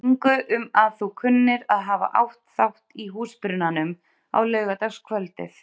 ingu um að þú kunnir að hafa átt þátt í húsbrunanum á laugardagskvöldið.